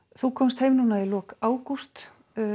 þú komst heim í lok ágúst